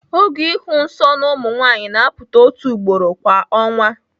Oge ịhụ nsọ na ụmụ nwanyị na-apụta otu ugboro kwa ọnwa.